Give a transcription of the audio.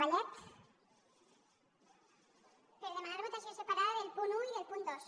per demanar votació separada del punt un i del punt dos